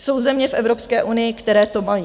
Jsou země v Evropské unii, které to mají.